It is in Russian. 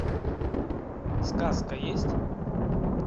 сказка есть